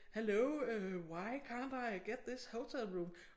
Hello øh why can't I get this hotel room